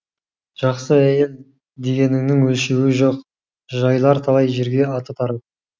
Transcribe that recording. жақсы әйел дегеніңнің өлшеуі жоқ жайылар талай жерге аты тарап